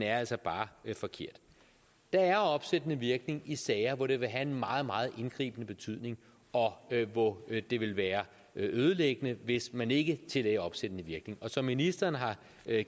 er altså bare forkert der er opsættende virkning i sager hvor det vil have en meget meget indgribende betydning og hvor det vil være ødelæggende hvis man ikke tillagde opsættende virkning og som ministeren har